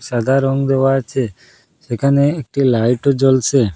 সাদা রং দেওয়া আচে সেখানে একটি লাইটও -ও জ্বলছে।